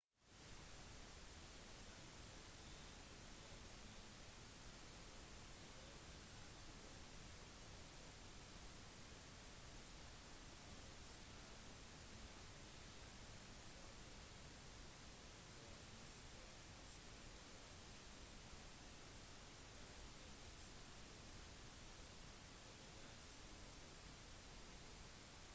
de som deltar i jevnlig aktivitet krevde mer støtte i forhold til negativ oppfatning av smerte med å kjenne hvordan kroniske smerter og ubehag som skyldes normal fysisk bevegelse føles